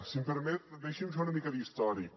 si m’ho permet deixi’m fer una mica d’històric